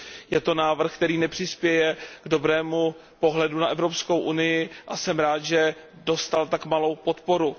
Je to návrh, který nepřispěje dobrému pohledu na Evropskou unii a jsem rád, že dostal tak malou podporu.